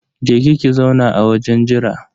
Je ki ki zauna a wajen jira